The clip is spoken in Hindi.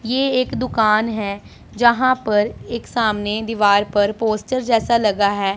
ये एक दुकान है जहां पर एक सामने दीवार पर पोस्टर जैसा लगा है।